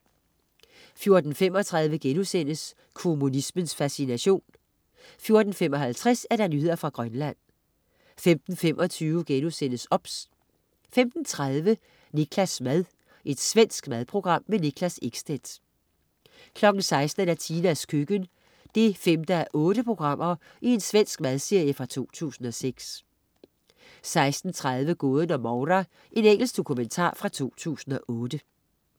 14.35 Kommunismens fascination* 14.55 Nyheder fra Grønland 15.25 OBS* 15.30 Niklas' mad. Svensk madprogram. Niklas Ekstedt 16.00 Tinas køkken. 5:8 Svensk madserie fra 2006 16.30 Gåden om Moura. Engelsk dokumentar fra 2008